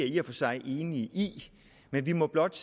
i og for sig enig i men vi må blot